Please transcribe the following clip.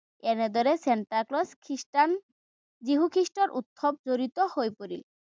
এনেদৰে চেন্তাক্লজ খ্ৰীষ্টান, যীশু খ্ৰীষ্টৰ উৎসৱ জড়িত হৈ পৰিল।